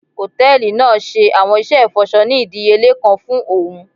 Hòtẹ́ẹ̀lì naa ṣe awọn iṣẹ ifọṣọ ni idiyele kan fún óún